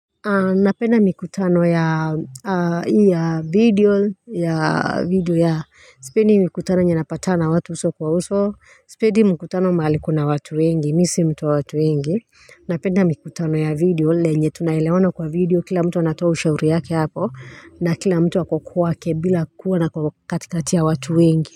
Napenda mikutano ya video. Sipendi mikutano yenye kupatana na watu uso kwa uso sipendi mikutano mahali kuna watu wengi. Mimi sio mtu wa watu wengi Napenda mikutano ya video na yenye kuelewana kwenye video kila mtu anatoa ushauri yake hapo na kila mtu yuko kwake bila kuwa katikati ya watu wengi.